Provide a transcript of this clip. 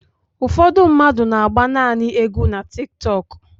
Ụfọdụ mmadụ n'agba nanị égwu na Tiktọk.